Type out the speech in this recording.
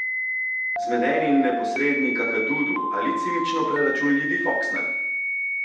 Zmedeni in neposredni Kakadudu ali cinično preračunljivi Foksner?